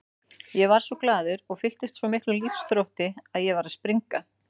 Ég varð svo glaður og fylltist svo miklum lífsþrótti að ég var að springa.